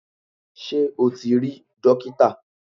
Sé o ti rí dókítà